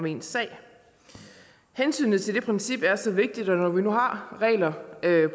i ens sag hensynet til det princip er så vigtigt at når nu vi har regler